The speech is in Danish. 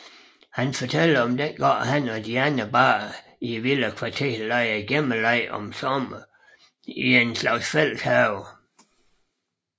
Han fortæller om dengang han og de andre børn i villakvarteret legede gemmeleg om sommeren i en slags fælles have